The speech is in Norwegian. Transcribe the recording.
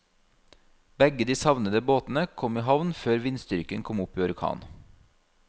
Begge de savnede båtene kom i havn før vindstyrken kom opp i orkan.